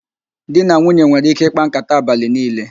Di na nwunye nwere ike ịkpa nkàtá abalị niile